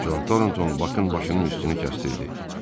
Con Tornton Bakın başının üstünü kəsdirirdi.